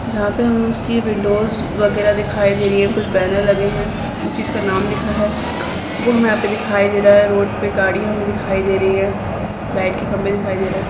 जहाँ पे हमे उसकी विंडोस वगैरह दिखाई दे रही हैं कुछ बैनर लगे है उस चीज का नाम लिखा है वो हमे यहाँ पे दिखाई दे रहा है रोड पे गाड़ी हमे दिखाई दे रही है लाइट के खंबे दिखाई दे रहे है।